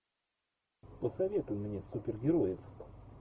посоветуй мне супергероев